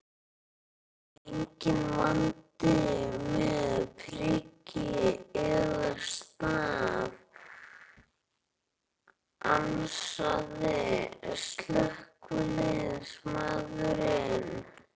Enginn vandi með priki eða staf, ansaði slökkviliðsmaðurinn.